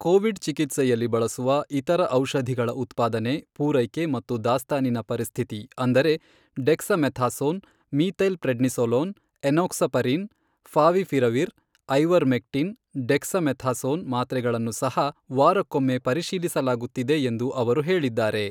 Covid ಚಿಕಿತ್ಸೆಯಲ್ಲಿ ಬಳಸುವ ಇತರ ಔಷಧಿಗಳ ಉತ್ಪಾದನೆ, ಪೂರೈಕೆ ಮತ್ತು ದಾಸ್ತಾನಿನ ಪರಿಸ್ಥಿತಿ ಅಂದರೆ dexamethasone, methylprednisolone, enoxaparin, favipiravir, ivermectin, dexamethasone ಮಾತ್ರೆಗಳನ್ನು ಸಹ ವಾರಕ್ಕೊಮ್ಮೆ ಪರಿಶೀಲಿಸಲಾಗುತ್ತಿದೆ ಎಂದು ಅವರು ಹೇಳಿದ್ದಾರೆ.